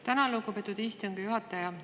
Tänan, lugupeetud istungi juhataja!